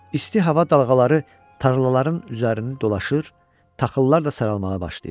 İsti hava dalğaları tarlaların üzərini dolaşır, taxıllar da saralmağa başlayırdı.